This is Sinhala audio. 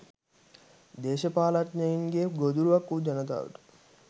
දේශපාලනඥයින්ගේ ගොදුරක් වු ජනතාවට